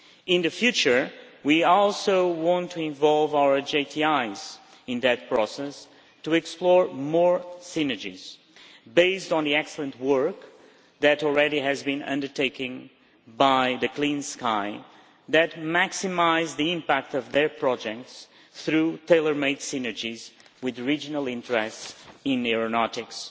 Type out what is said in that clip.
In the future we also want to involve our JTIs in that process to explore more synergies based on the excellent work that has already been undertaking by the Clean Sky, that maximise the impact of their projects through tailor made synergies with regional interests in aeronautics.